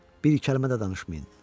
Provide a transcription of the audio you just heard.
Bir kəlmə də danışmayın.